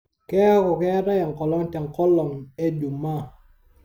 keeku keetae enkolong' tengolong' ejumaa